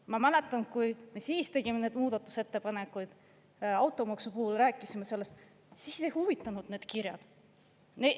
Ma mäletan, kui me siis tegime neid muudatusettepanekuid, automaksu puhul rääkisime sellest, siis ei huvitanud need kirjad.